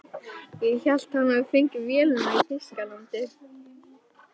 Ég held að hann hafi fengið vélina í Þýskalandi.